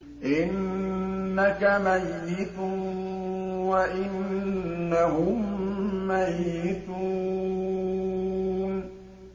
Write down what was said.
إِنَّكَ مَيِّتٌ وَإِنَّهُم مَّيِّتُونَ